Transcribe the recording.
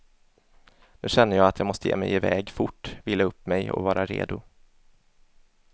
Nu känner jag att jag måste ge mig iväg fort, vila upp mig och vara redo.